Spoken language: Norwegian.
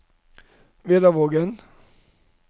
Vedavågen